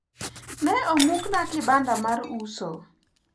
ne omuk na kibanda mar uso